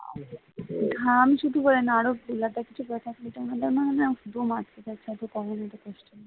ঘাম শুধু বলে না আরো ফুলহাতা কিছু করে থাকলে না খুব কষ্ট হয় গরমে